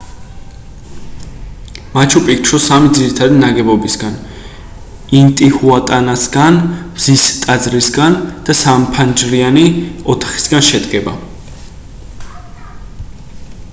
მაჩუ-პიქჩუ სამი ძირითადი ნაგებობისგან ინტიჰუატანასგან მზის ტაძრისგან და სამფანჯრიანი ოთახისგან შედგება